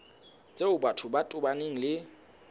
tseo batho ba tobaneng le